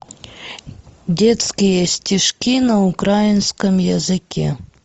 детские стишки на украинском языке